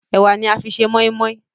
Ẹwà ní a fí ṣe moimoi.